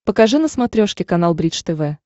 покажи на смотрешке канал бридж тв